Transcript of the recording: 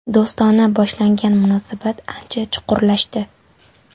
Do‘stona boshlangan munosabat ancha chuqurlashdi.